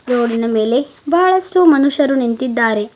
ರೋಡಿನ ಮೇಲೆ ಬಹಳಷ್ಟು ಮನುಷ್ಯರು ನಿಂತಿದ್ದಾರೆ.